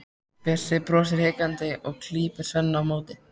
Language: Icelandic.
Bjössi brosir hikandi og klípur Svenna á móti.